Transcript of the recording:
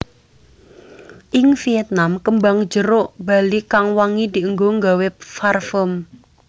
Ing Vietnam kembang jeruk bali kang wangi dienggo nggawe farfum